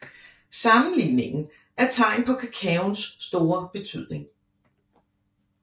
Sammenligningen er tegn på kakaoens store betydning